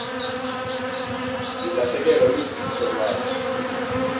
lilahlekelwa lusindiso iwalo